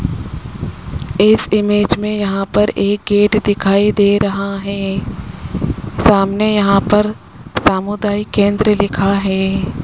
इस इमेज में यहां पर एक गेट दिखाई दे रहा है सामने यहां पर सामुदायिक केंद्र लिखा है।